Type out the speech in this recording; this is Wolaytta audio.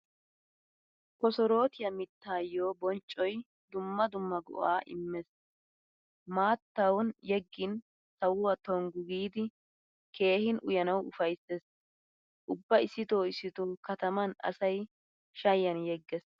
Kosorootiya miittaayo bonccoy dumma dumma go'aa immees. Maattan yeggin sawuwaa tonggu giidi keehin uyanawu ufayssees. Ubba issitoo issitoo kataman asay shayiyan yeggees.